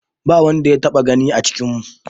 Ba wanda ya taɓa gani a cikinmu.